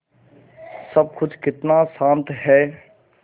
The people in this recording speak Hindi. सब कुछ कितना शान्त है